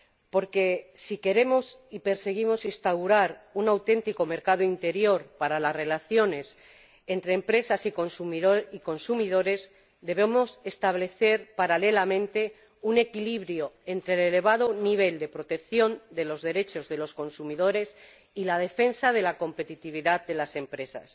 Porque, si queremos y perseguimos instaurar un auténtico mercado interior para las relaciones entre empresas y consumidores, debemos establecer paralelamente un equilibrio entre el elevado nivel de protección de los derechos de los consumidores y la defensa de la competitividad de las empresas.